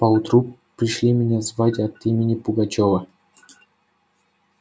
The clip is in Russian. поутру пришли меня звать от имени пугачёва